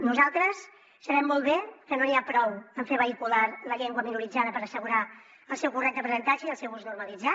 nosaltres sabem molt bé que no n’hi ha prou amb fer vehicular la llengua minoritzada per assegurar el seu correcte aprenentatge i el seu ús normalitzat